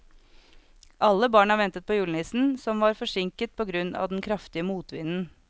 Alle barna ventet på julenissen, som var forsinket på grunn av den kraftige motvinden.